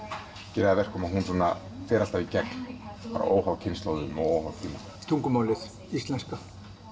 gerir að verkum að hún fer alltaf í gegn óháð kynslóðum og tíma tungumálið íslenska